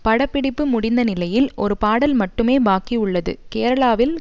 படப்பிடிப்பு முடிந்த நிலையில் ஒரு பாடல் மட்டுமே பாக்கி உள்ளது கேரளாவில்